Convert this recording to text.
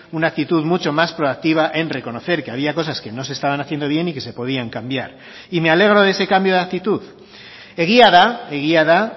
una actitud mucho más proactiva en reconocer que había cosas que no se estaban haciendo bien y que se podían cambiar y me alegro de ese cambio de actitud egia da egia da